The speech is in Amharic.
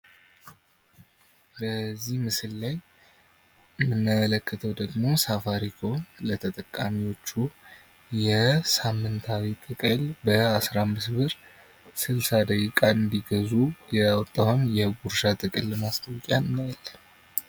በዚህ ምስል ላይ የምንመለከተው ደግሞ ሳፋሪኮም ለተጠቃሚዎቹ የሳምንታዊ ጥቅል በ15 ብር 60 ደቂቃን እንድገዙ ያወጣውን የጉርሻ ጥቅል ማስታወሻ እናያለን።